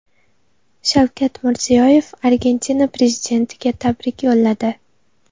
Shavkat Mirziyoyev Argentina prezidentiga tabrik yo‘lladi.